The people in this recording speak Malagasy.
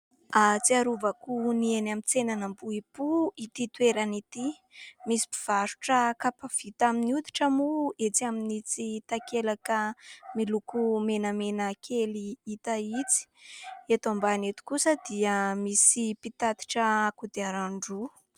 Ahatsiarovako ny eny amin'ny tsenan'Ambohipo ity toerana ity. Misy mpivarotra kapa vita amin'ny hoditra moa etsy amin'ny itsy takelaka miloko menamena kely hita itsy. Eto ambany eto kosa dia misy mpitatitra kodiaran-droa.